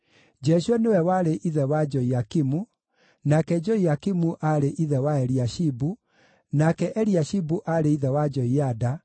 Jeshua nĩwe warĩ ithe wa Joiakimu, nake Joiakimu aarĩ ithe wa Eliashibu, nake Eliashibu aarĩ ithe wa Joiada,